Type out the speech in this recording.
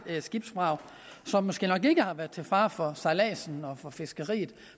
skibsvrag som måske nok ikke har været til fare for sejladsen og fiskeriet